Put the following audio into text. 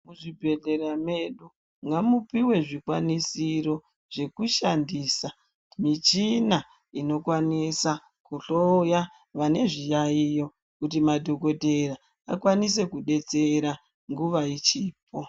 Muzvibhehlera medu ngamupiwe zvikwanisiro zvekushandisa michina inokwanisa kuhloya vanezviyayiyo kuti madhokodheya vakwanise kudetsera nguwa ichipo.